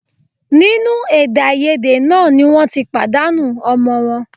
Nínú èdèàìyedè náà ni wọ́n ti pàdánù ọmọ wọn